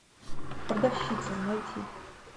продавщица найти